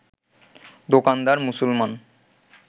দোকানদার মুসলমান